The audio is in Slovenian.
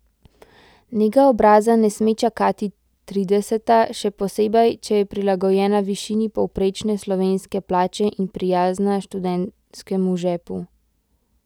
Nega obraza ne sme čakati trideseta, še posebej, če je prilagojena višini povprečne slovenske plače in prijazna študentskemu žepu!